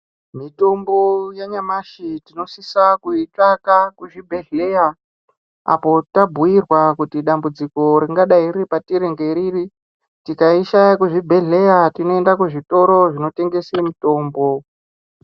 Mitombo yanyamashi tinosisa kuitsvaka kuzvibhedhleya ,apo tabhuirwa kuti dambudziko ringadai riri patiri ngeriri. Tikaishaya kuzvibhedhleya tinoenda kuzvitoro zvinotengese mitombo.